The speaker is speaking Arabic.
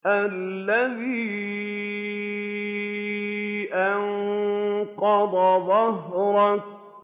الَّذِي أَنقَضَ ظَهْرَكَ